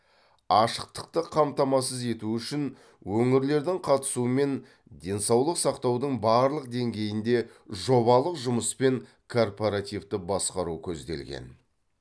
ашықтықты қамтамасыз ету үшін өңірлердің қатысуымен денсаулық сақтаудың барлық деңгейінде жобалық жұмыс пен корпоративту басқару көзделген